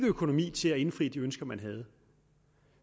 økonomi til at indfri de ønsker man havde